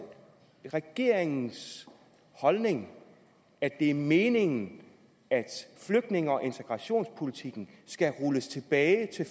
regeringens holdning at det er meningen at flygtninge og integrationspolitikken skal rulles tilbage til